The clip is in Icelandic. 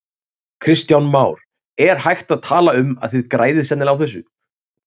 Kristján Már: Er hægt að tala um að þið græðið sennilega á þessu?